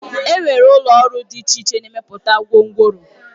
Enwere ụlọ ọrụ dị iche iche na-emepụta gwongworo